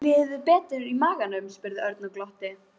Líður þér betur í maganum? spurði Örn og glotti.